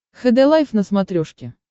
хд лайф на смотрешке